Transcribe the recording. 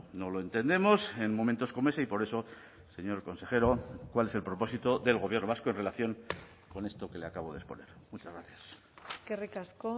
no lo entendemos en momentos como ese y por eso señor consejero cuál es el propósito del gobierno vasco en relación con esto que le acabo de exponer muchas gracias eskerrik asko